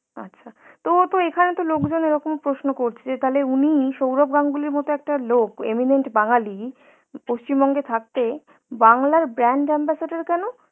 আচ্ছা, তো ও তো এখানে তো লোক জন এরকম প্রশ্ন করছে, যে উনি সৌরভ গাঙ্গুলি মত একটা লোক eminent বাঙালি, পশ্চিম বঙ্গে থাকতে, বাংলার brand ambassador কেন